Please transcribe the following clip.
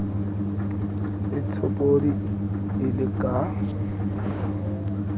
e tshopodi e le ka